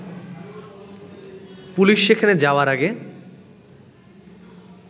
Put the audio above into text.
police সেখানে যাওয়ার আগে